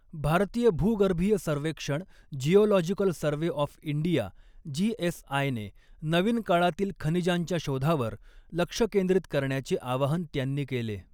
भारतीय भूगर्भीय सर्वेक्षण geological survey of India GSI ने नवीन काळातील खनिजांच्या शोधावर लक्ष केंद्रित करण्याचे आवाहन त्यांनी केले.